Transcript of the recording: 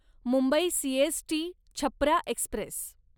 Mumbai CST Chhapra Express